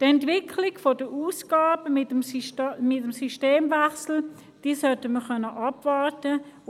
Wir sollten die Ausgabenentwicklung nach dem Systemwechsel abwarten können.